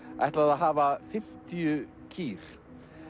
ætlaði að hafa fimmtíu kýr